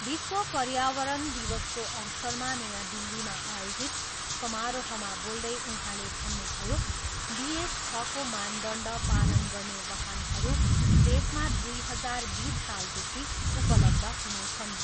विश्व पर्यावरण दिवसको अवसरमा नयाँ दिल्लीमा आयोजित समारोहमा बोल्दै उहाँले भन्नुभयो, बी एस छको मानदण्ड पालन गर्ने वाहनरू देशमा दुई हजार बिस सालदेखि उपलब्ध हुनेछन्।